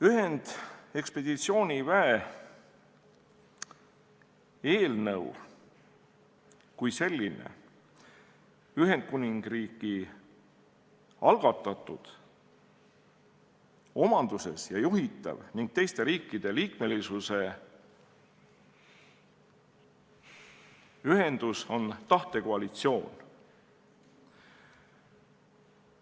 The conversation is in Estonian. Ühendekspeditsioonivägi on Ühendkuningriigi algatatud, omanduses ja juhitav ning teiste riikide liikmesusega tahtekoalitsioon.